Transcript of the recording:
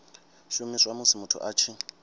shumiswa musi muthu a tshi